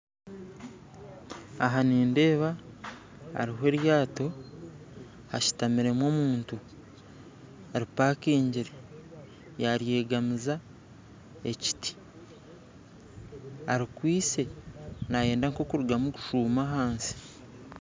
Aha nindeeba hariho eryato hashutamiremu omuntu ripakingire yaryegamiza ekiti arikwitsye nayenda nk'okurugamu kushuuma ahansi